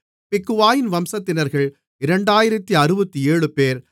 பிக்வாயின் வம்சத்தினர்கள் 2067 பேர்